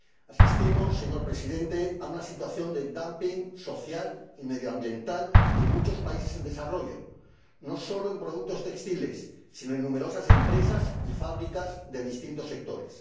Asistimos, señor Presidente, a una situación de dumping social y medioambiental en muchos países en desarrollo, no solo en productos textiles, sino en numerosas empresas y fábricas de distintos sectores.